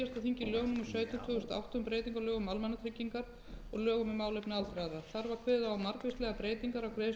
tvö þúsund og átta um breytingu á lögum um almannatryggingar og lögum um málefni aldraðra þar var kveðið á um margvíslegar breytingar